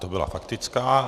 To byla faktická.